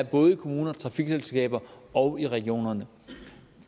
både i kommunerne trafikselskaberne og regionerne